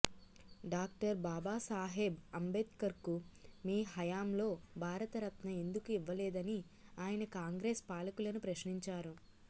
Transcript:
doctor Babasaheb అంబేద్కర్కు మీ హయాంలో భారతరత్న ఎందుకు ఇవ్వలేదని ఆయన కాంగ్రెస్ పాలకులను ప్రశ్నించారు